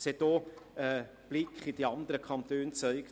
Ein Blick in die anderen Kantone hat gezeigt: